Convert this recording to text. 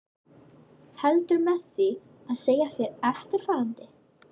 Heldur með því að segja þér eftirfarandi